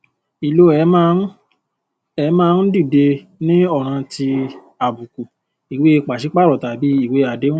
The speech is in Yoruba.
ìlò ẹ má ń ẹ má ń dìde ní ọràn ti àbùkù ìwée pàṣípààrọ tàbí ìwé àdéhùn